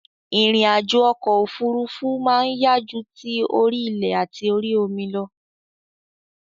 Ìrìn àjò okò òfurufú ma n yá ju ti orí ilè àti orí omi lo